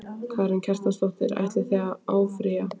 Karen Kjartansdóttir: Ætlið þið að áfrýja?